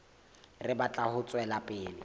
re batla ho tswela pele